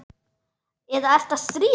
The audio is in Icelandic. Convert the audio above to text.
Eða ertu að stríða mér?